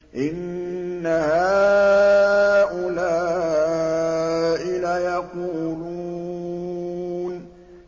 إِنَّ هَٰؤُلَاءِ لَيَقُولُونَ